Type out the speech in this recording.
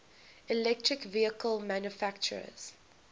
electric vehicle manufacturers